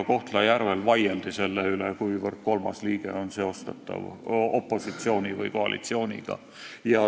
Kohtla-Järvel vaieldi selle üle, kuivõrd kolmas liige on seostatav opositsiooni või koalitsiooniga.